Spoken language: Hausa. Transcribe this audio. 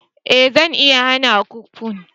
eh zan iya hana ku punk